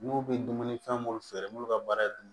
N'u bɛ dumuni fɛn minnu feere n'u ka baara ye dumuni